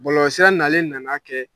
Bɔlɔlɔsira nalen nan'a kɛ